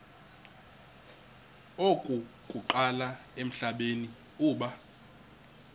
okokuqala emhlabeni uba